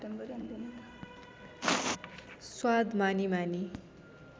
स्वाद मानी मानी